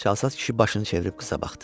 Çalsat kişi başını çevirib qıza baxdı.